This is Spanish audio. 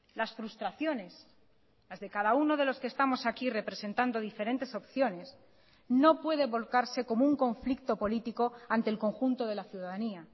las frustraciones las de cada uno de los que estamos aquí representando diferentes opciones no puede volcarse como un conflicto político ante el conjunto de la ciudadanía